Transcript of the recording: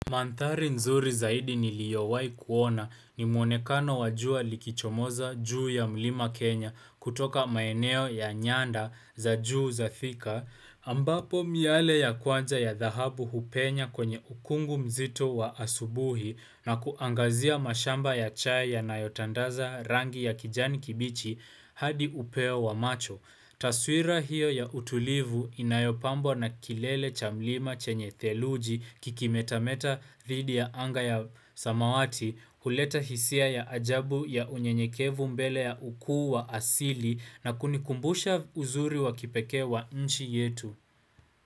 Mandhari nzuri zaidi niliowai kuona ni muonekano wajua likichomoza juu ya mlima Kenya kutoka maeneo ya nyanda za juu za thika. Ambapo miale ya kwanza ya dhahabu hupenya kwenye ukungu mzito wa asubuhi na kuangazia mashamba ya chai yanayotandaza rangi ya kijani kibichi hadi upewa macho. Taswira hiyo ya utulivu inayopambwa na kilele cha mlima chenye theluji kikimetameta dhidi ya anga ya samawati, huleta hisia ya ajabu ya unyenyekevu mbele ya ukuu wa asili na kunikumbusha uzuri wa kipekee wa nchi yetu.